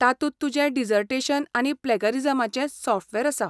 तातूंत तुजें डिजर्टेशन आनी प्लॅगरिजमाचें सॉफ्टवॅर आसा.